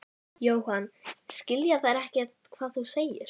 Í útvarpinu var sagt frá löndun síldveiðiskipanna í Hvalfirði.